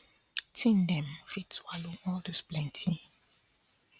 teen dem fit swallow all dose plenty